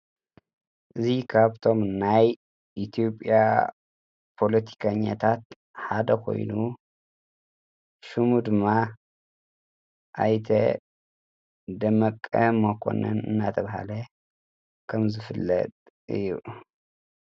እዙ ካብቶም ናይ ኢቲዩጵያ ፖሎቲከኛታት ሓደ ኾይኑ ሹሙ ድማ ኣይተ ደመቀ መኮነን እናተብሃለ ከም ዘፍለጥ እዩ።